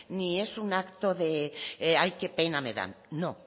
ni es un acto de ay qué pena me dan